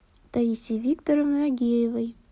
таисии викторовны агеевой